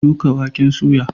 Shuka waken soya.